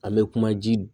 An bɛ kuma ji